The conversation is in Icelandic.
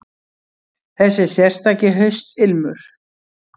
Þessi sérstaki haustilmur.